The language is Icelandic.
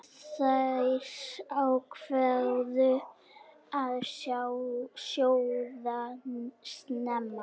Þær ákváðu að sjóða snemma.